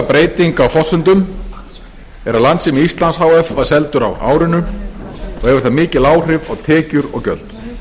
á forsendum er að landssími íslands h f var seldur á árinu og hefur það mikil áhrif á tekjur og gjöld